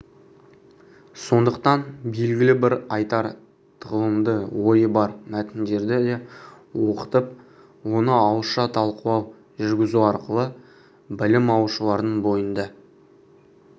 сондықтан белгілі бір айтар тағылымды ойы бар мәтіндерді де оқытып оны ауызша талқылау жүргізу арқылы білім алушылардың бойында